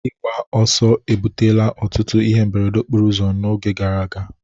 Ịgba ọsọ ebutela ọtụtụ ihe mberede okporo ụzọ n'oge gara aga